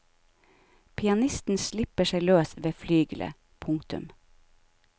Pianisten slipper seg løs ved flygelet. punktum